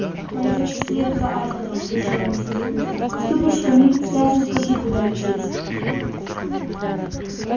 пойдёшь вслед за артуром решила миссис уизли вступишь в камин сразу скажи куда лететь